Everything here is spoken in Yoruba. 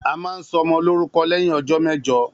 A máa ń sọ ọmọ lórúkọ lẹ́yìn ọjọ́ mẹejọ